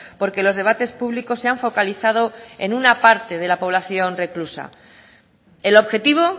porque los debates públicos se han focalizado en una parte de la población reclusa el objetivo